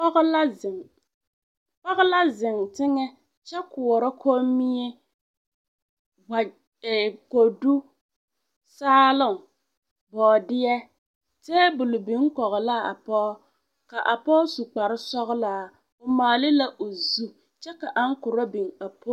Pɔgɔ la zeŋ teŋɛ kyɛ koɔrɔ kɔmmie, kɔdu, saaloŋ, bɔɔdeɛ, teebol biŋ kɔge la a pɔge, a pɔge su kpare sɔgelaa o maale la o zu kyɛ ka aŋkorɔ biŋ.